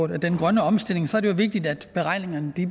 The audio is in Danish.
den grønne omstilling er det vigtigt at beregningerne